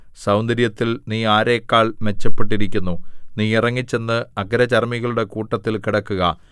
സൗന്ദര്യത്തിൽ നീ ആരെക്കാൾ മെച്ചപ്പെട്ടിരിക്കുന്നു നീ ഇറങ്ങിച്ചെന്ന് അഗ്രചർമ്മികളുടെ കൂട്ടത്തിൽ കിടക്കുക